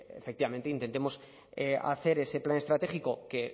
pues efectivamente intentemos hacer ese plan estratégico que